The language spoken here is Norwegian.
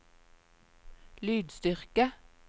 lydstyrke